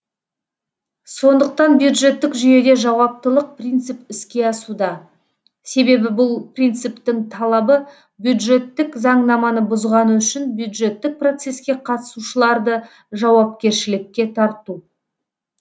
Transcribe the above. сондықтан бюджеттік жүйеде жауаптылық принцип іске асуда себебі бұл принциптің талабы бюджеттік заңнаманы бұзғаны үшін бюджеттік процеске қатысушыларды жауапкершілікке тарту